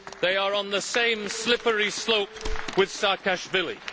They are on the same slippery slope with Saakashvili.